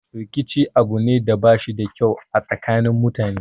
Rikici abu ne da bashi da kyau a tsakanin mutane